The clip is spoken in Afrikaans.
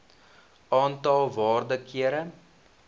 aantal waarde kere